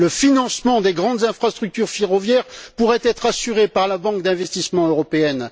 Le financement des grandes infrastructures ferroviaires pourrait être assuré par la banque d'investissement européenne.